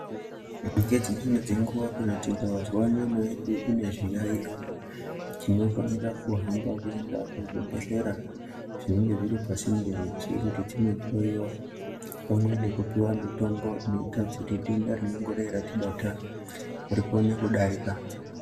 Ngedzimweni dzenguwa tikazwa kana nyama yedu ine zviyaiyo tinofanira kuhamba kuenda kuzvibhehlera zvinenge zviri pasinde nesu kuti tinohloyiwa pamwe nekupiwa mitombo inoita kuti denda rinongodai ratibata rikone kudarika.